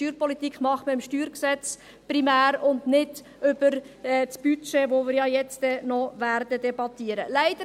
Steuerpolitik macht man primär im StG, aber nicht über das Budget, welches wir noch debattieren werden.